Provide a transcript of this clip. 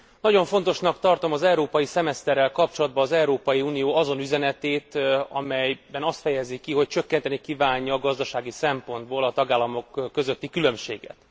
Nagyon fontosnak tartom az európai szemeszterrel kapcsolatban az Európai Unió azon üzenetét, amelyben azt fejezi ki, hogy csökkenteni kívánja gazdasági szempontból a tagállamok közötti különbséget.